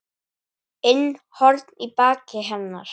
inn horn í baki hennar.